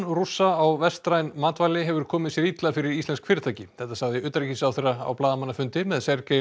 Rússa á vestræn matvæli hefur komið sér illa fyrir íslensk fyrirtæki þetta sagði utanríkisráðherra á blaðamannafundi með